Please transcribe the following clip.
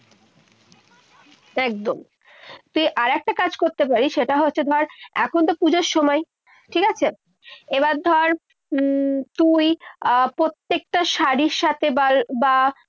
একদম। তুই আরেকটা কাজ করতে পারিস। সেটা হচ্ছে ধর, এখন তো পূজোর সময়, ঠিক আছে। এবার ধর, উম তুই আহ প্রত্যেকটা শাড়িটা সাথে বল বা